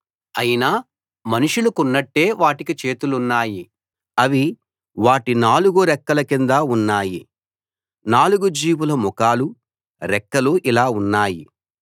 అయినా మనుషులకున్నట్టే వాటికి చేతులు ఉన్నాయి అవి వాటి నాలుగు రెక్కల కింద ఉన్నాయి నాలుగు జీవుల ముఖాలూ రెక్కలూ ఇలా ఉన్నాయి